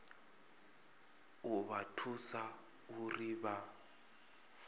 u vha thusa uri vha